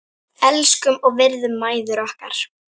Elskum og virðum mæður okkar.